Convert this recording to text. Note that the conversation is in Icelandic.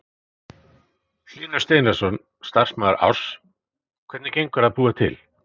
Hlynur Steinarsson, starfsmaður Áss: Hvernig gengur að búa til?